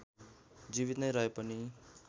जीवित नै रहे पनि